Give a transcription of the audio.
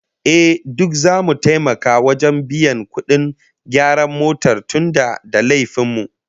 Ehh, duk zamu taimaka wajen biyan kudin gyaran motar tunda da laifin mu